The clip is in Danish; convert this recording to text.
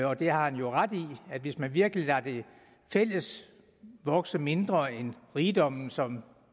og det har han jo ret i hvis man virkelig lader det fælles vokse mindre end den rigdom som